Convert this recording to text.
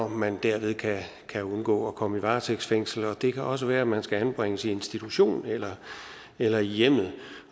man derved kan kan undgå at komme i varetægtsfængsel det kan også være at man skal anbringes i institution eller eller i hjemmet